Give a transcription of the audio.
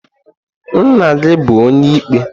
Nna-gi bu onye-ikpe?